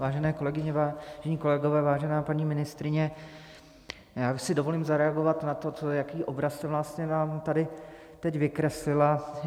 Vážené kolegyně, vážení kolegové, vážená paní ministryně, já si dovolím zareagovat na to, jaký obraz jste vlastně nám tady teď vykreslila.